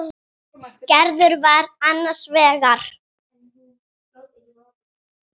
Gerður var annars vegar.